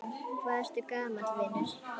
Hvað ertu gamall, vinur?